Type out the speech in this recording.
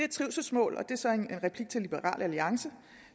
trivselsmål og det er så en replik til liberal alliance